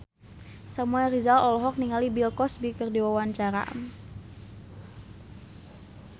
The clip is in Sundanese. Samuel Rizal olohok ningali Bill Cosby keur diwawancara